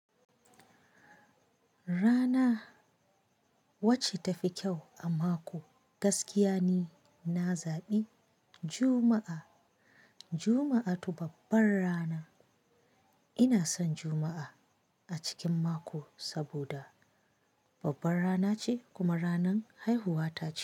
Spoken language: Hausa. Rana wacce tafi kyau a mako gaskiya ne na zaɓi Juma'a. Juma'a tu babbar rana. Ina son Juma'a a cikin mako saboda babban rana ce kuma ranan haihuwa ta ce.